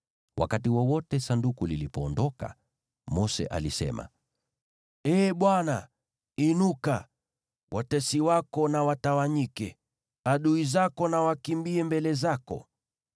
Wakati wowote Sanduku lilipoondoka, Mose alisema, “Ee Bwana , inuka! Watesi wako na watawanyike; adui zako na wakimbie mbele zako.”